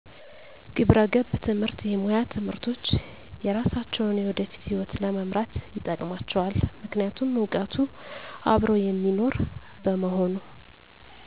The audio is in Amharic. ግብረገብ ትምህርት የሙያ ትምህርቶች የሰራሳቸውን የወደፊት ሕይወት ለመምራት ይጠቅማቸዋል ምክንያቱም እውቀቱ አብሮ የሚኖር በመሆኑ